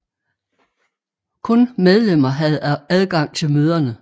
Kun medlemmer havde adgang til møderne